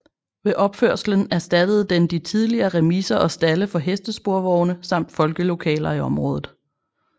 Ved opførelsen erstattede den de tidligere remiser og stalde for hestesporvogne samt folkelokaler i området